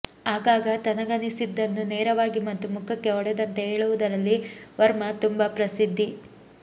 ಆಗಾಗ ತನಗನ್ನಿಸಿದ್ದನ್ನು ನೇರವಾಗಿ ಮತ್ತು ಮುಖಕ್ಕೆ ಹೊಡೆದಂತೆ ಹೇಳುವುದರಲ್ಲಿ ವರ್ಮಾ ತುಂಬಾ ಪ್ರಸಿದ್ಧಿ